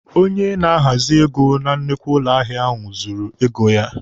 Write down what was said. Onye na-ahazị ego na nnukwu ụlọ ahịa ahụ zụrụ ego ya.